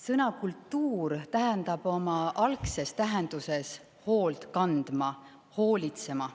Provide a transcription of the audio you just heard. Sõna "kultuur" tähendab oma algses tähenduses hoolt kandma, hoolitsema.